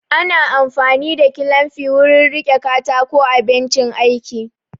Ana amfani da kilamfi wurin riƙe katako a bencin aiki